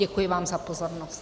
Děkuji vám za pozornost.